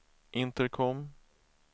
intercom